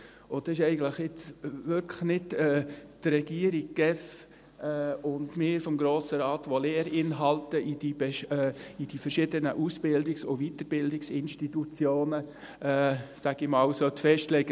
Das ist jetzt eigentlich wirklich nicht die Regierung, die GEF und wir vom Grossen Rat, die Lehrinhalte in die verschiedenen Ausbildungs- und Weiterbildungsinstitutionen festlegen sollten – sage ich einmal.